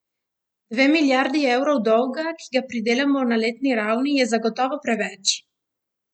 Dve milijardi evrov dolga, ki ga pridelamo na letni ravni, je zagotovo preveč!